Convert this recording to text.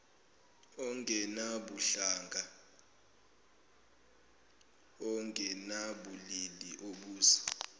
ongenabuhlanga ongenabulili obusa